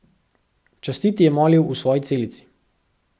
Častiti je molil v svoji celici.